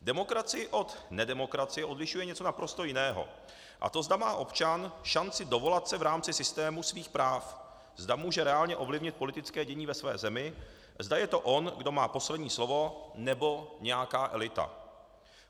Demokracii od nedemokracie odlišuje něco naprosto jiného, a to zda má občan šanci dovolat se v rámci systému svých práv, zda může reálně ovlivnit politické dění ve své zemi, zda je to on, kdo má poslední slovo, nebo nějaká elita.